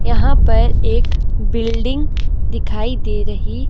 यहां पर एक बिल्डिंग दिखाई दे रही--